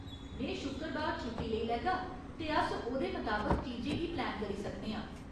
में शुक्कबार छुट्टी लेई लैगा ते अस ओह्‌दे मताबक चीजें गी प्लैन करी सकने आं।